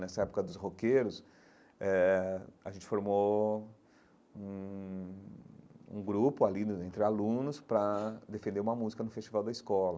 Nessa época dos roqueiros eh, a gente formou um um grupo ali né entre alunos para defender uma música no festival da escola.